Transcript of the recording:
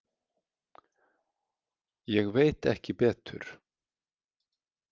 Ég veit ekki betur.